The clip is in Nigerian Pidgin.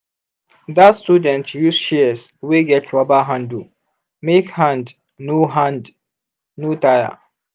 that student use shears wey get rubber handle make hand no hand no tire.